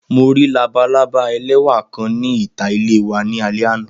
Mo ri labalaba lẹwa kan ni ita ile wa ni alẹ ana.